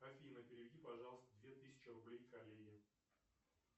афина переведи пожалуйста две тысячи рублей коллеге